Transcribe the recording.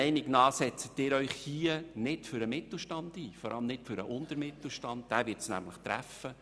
Sie setzen sich hier nicht für den Mittelstand ein, vor allem nicht für den unteren Mittelstand, denn diesen wird es treffen.